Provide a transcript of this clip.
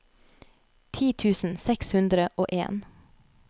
ti tusen seks hundre og en